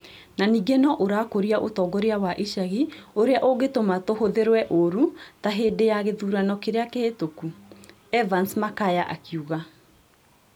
"Na ningĩ no ũrakũria ũtongoria wa icagi ũrĩa ũngĩtũma tũhũthĩrwe ũũru ta hĩndĩ ya gĩthurano kĩrĩa kĩhĩtũku."Evans Makaya akiuga.